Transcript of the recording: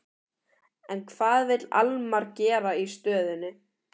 En hvað vill Almar gera í stöðunni?